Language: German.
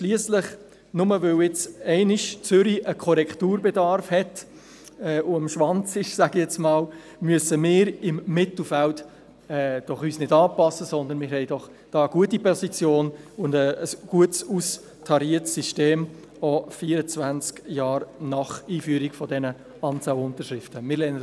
Schliesslich, nur, weil Zürich einmal einen Korrekturbedarf hat und sich – um es so zu sagen – am Schwanz befindet, brauchen wir uns im Mittelfeld doch nicht anzupassen, sondern haben eine gute Position mit einem gut austarierten System, auch 24 Jahre nach Einführung der Unterschriftenanzahlen.